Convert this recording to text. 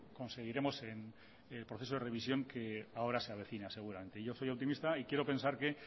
conseguiremos en el proceso de revisión que ahora se avecina seguramente yo soy optimista y quiero pensar que